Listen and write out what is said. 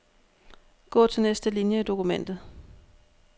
Gå til næste linie i dokumentet.